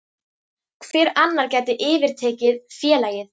Hver annar gæti yfirtekið félagið?